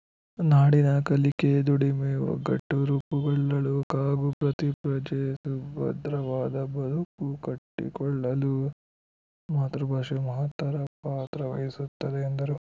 ನಾಡಿನ ಕಲಿಕೆ ದುಡಿಮೆ ಒಗ್ಗಟ್ಟು ರೂಪುಗೊಳ್ಳಲು ಹಾಗೂ ಪ್ರತಿ ಪ್ರಜೆ ಸುಭದ್ರವಾದ ಬದುಕು ಕಟ್ಟಿಕೊಳ್ಳಲು ಮಾತೃಭಾಷೆ ಮಹತ್ತರ ಪಾತ್ರವಹಿಸುತ್ತದೆ ಎಂದರು